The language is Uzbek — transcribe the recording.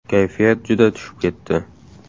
Kayfiyat juda tushib ketdi!